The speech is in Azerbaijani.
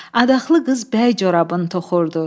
Adaxlı qız bəy corabın toxurdu.